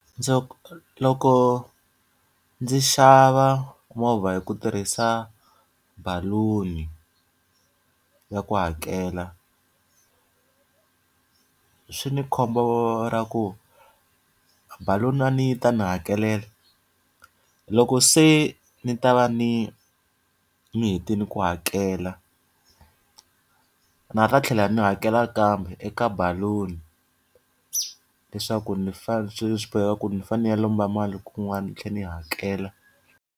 Ndzo loko ndzi xava movha hi ku tirhisa baloni ya ku hakela, swi ni khombo ra ku baloni a ni yi ta ni hakelela. Loko se ndzi ta va ndzi ndzi hetile ku hakela, ndza ha tlhela ndzi hakela kambe eka baloni. Leswaku ni swi swi boheka ku ndzi fanele ndzi ya lomba mali kun'wana ndzi tlhela ndzi yi hakela.